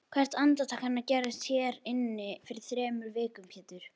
Hvert andartak hennar gerðist hér inni fyrir þremur vikum Pétur.